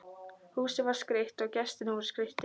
Húsið var skreytt og gestirnir voru skreyttir.